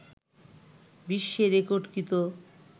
বিশ্বে রেকর্ডকৃত